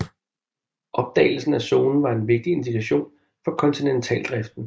Opdagelsen af zonen var en vigtig indikation for kontinentaldriften